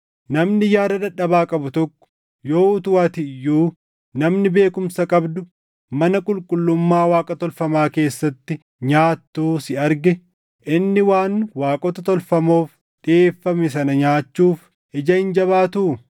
Namni yaada dadhabaa qabu tokko yoo utuu ati iyyuu namni beekumsa qabdu mana qulqullummaa Waaqa tolfamaa keessatti nyaattuu si arge inni waan waaqota tolfamoof dhiʼeeffame sana nyaachuuf ija hin jabaatuu?